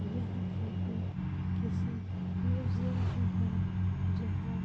यह फोटो किसी म्यूजियम की है जहाँ --